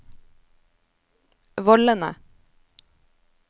vollene